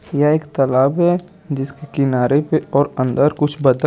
यह एक तालाब है जिसके किनारे पे और अंदर कुछ बतक--